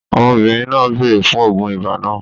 Ọmọbìnrin náà béèrè fún oògùn ibà náà